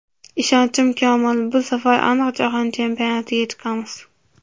Ishonchim komil, bu safar aniq Jahon chempionatiga chiqamiz.